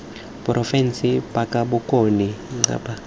porofense ba kapa bokone ncpa